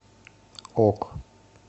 ок